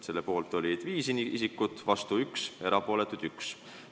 Selle poolt oli 5 isikut, vastu oli 1, erapooletuks jäi ka 1.